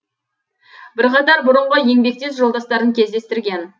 бірқатар бұрынғы еңбектес жолдастарын кездестірген